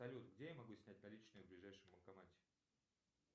салют где я могу снять наличные в ближайшем банкомате